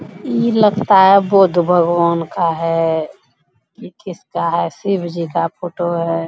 इ लगता है बुध भगवान का है | इ किसका है शिव जी का फोटो है |